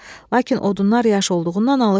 Lakin odunlar yaş olduğundan alışmırdı.